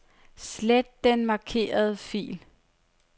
Slet den markerede fil.